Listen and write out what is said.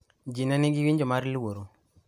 ji ne nigi winjo mar luoro"